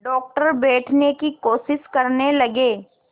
doctor बैठने की कोशिश करने लगे